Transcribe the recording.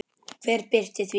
Hver birti þetta?